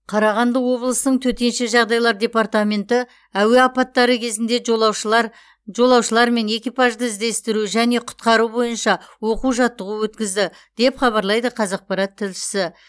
қарағанды облысының төтенше жағдайлар департаменті әуе апаттары кезінде жолаушылар жолаушылар мен экипажды іздестіру және құтқару бойынша оқу жаттығу өткізді деп хабарлайды қазақпарат тілшісі